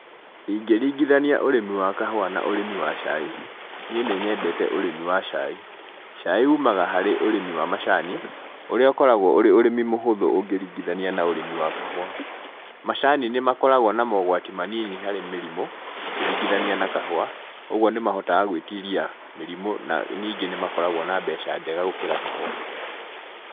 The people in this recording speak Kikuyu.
Ingĩringithania ũrĩmi wa kahũa na ũrĩmi wa cai, niĩ nĩ nyendete ũrĩmi wa cai. cai umaga harĩ ũrĩmi wa macani, ũrĩa ũkoragwo ũrĩ ũrĩmi mũhũthũ ũngĩringithania na ũrĩmi wa kahũa. Macani nĩ makoragwo na mogwati manini harĩ mĩrimũ, ũkĩringithania na kahũa. Koguo nĩ mahotaga gwĩtiria mĩrimũ na nyingĩ nĩ makoragwo na mbeca njega gũkĩra kahũa.